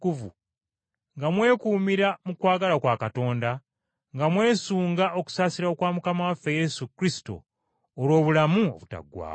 nga mwekuumira mu kwagala kwa Katonda, nga mwesunga okusaasira kwa Mukama waffe Yesu Kristo olw’obulamu obutaggwaawo.